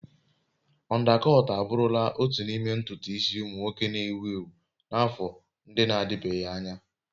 Ọndakọt abụrụla otu n'ime ntutu isi ụmụ nwoke na-ewu ewu n'afọ ndị na-adịbeghị anya.